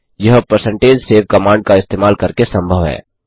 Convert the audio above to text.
यह percentage save command का इस्तेमाल करके संभव है